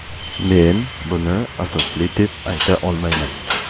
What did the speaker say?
Men buni asosli deb ayta olmayman.